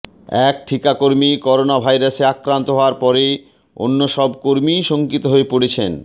এক ঠিকাকর্মী করোনাভাইরাসে আক্রান্ত হওয়ার পরে অন্য সব কর্মীই শঙ্কিত হয়ে পড়েছেন